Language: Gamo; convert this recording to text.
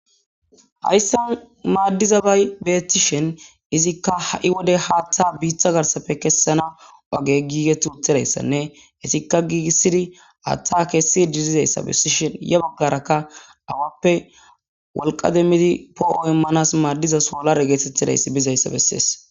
Hayssan maaddiza bay beetishen izikka ha'i wode haatta biittha garsafe kessana oge giige tuuthidayssanne hesikka giigissidi hatta keessi didizayssa bessishen ye baggarakka awappe wolqa demmidi poo'o immanas maaddiza soolare geetetidayssi bizayssa bessees.